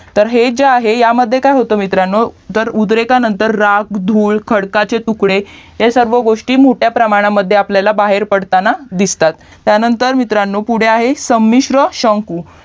तर हे जे आहे तर ह्यामध्ये काय होतं मित्रांनो उद्रेका नंतर जाळ धूर खडकाचे तुकडे हे सर्व गोष्टी मोठ्या प्रमाणामध्ये आपल्याला बाहेर पडताना दिसतात त्यानंतर मित्रांनो पुढे आहे समिश्र शंकू